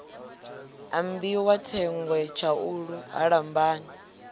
ambiwa thengwe tshaulu ha lambani